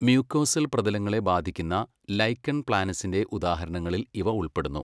Mucosal പ്രതലങ്ങളെ ബാധിക്കുന്ന lichen പ്ലാനസിന്റെ ഉദാഹരണങ്ങളിൽ ഇവ ഉൾപ്പെടുന്നു.